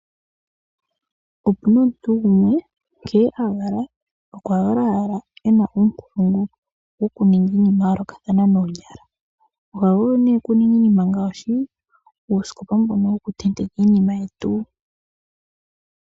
Opuna omuntu gumwe nkene a valwa okuna ashike uunkulungu wukuninga iinima yayoolokathana noonyala, oha vulu nee okuninga iinima ngaashi: uusikopa mbono wokutetekwa iinima yetu.